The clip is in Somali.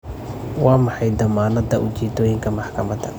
Waa maxay dammaanadda ujeeddooyinka maxkamadda?